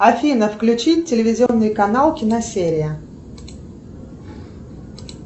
афина включи телевизионный канал киносерия